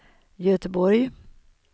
Göteborg